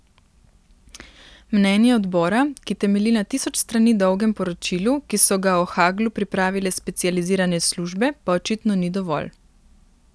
Mnenje odbora, ki temelji na tisoč strani dolgem poročilu, ki so ga o Haglu pripravile specializirane službe, pa očitno ni dovolj.